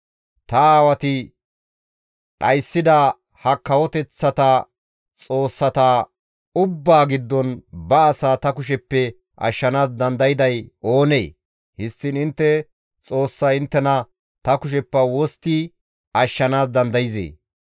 Ta aawati dhayssida ha kawoteththata xoossata ubbaa giddon ba asaa ta kusheppe ashshanaas dandayday oonee? Histtiin intte Xoossay inttena ta kusheppe wostti ashshanaas dandayzee?